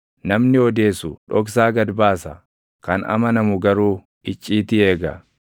Namni odeessu dhoksaa gad baasa; kan amanamu garuu icciitii eega.